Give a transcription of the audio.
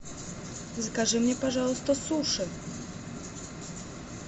закажи мне пожалуйста суши